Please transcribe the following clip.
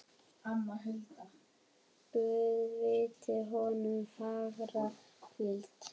Guð veiti honum fagra hvíld.